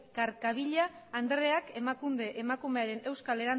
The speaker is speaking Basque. carcavilla andreak emakunde emakumearen euskal